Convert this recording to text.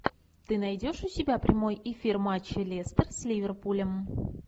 ты найдешь у себя прямой эфир матча лестер с ливерпулем